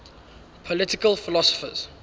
political philosophers